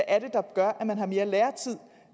er der gør at man har mere lærertid